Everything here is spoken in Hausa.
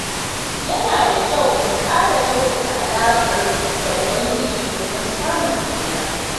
Yana da kyau mu ƙara kyautata alaƙarmu da Ubangiji domin samun tsira.